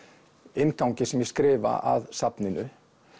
inngangi sem ég skrifa að safninu